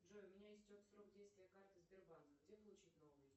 джой у меня истек срок действия карты сбербанка где получить новую